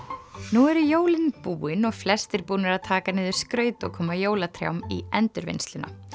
nú eru jólin búin og flestir búnir að taka niður skraut og koma jólatrjám í endurvinnsluna